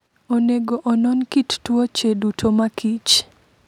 Onego onon kit tuoche duto ma kich.